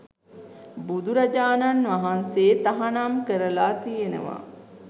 බුදුරජාණන් වහන්සේ තහනම් කරලා තියෙනවා